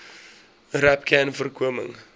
rapcanvoorkoming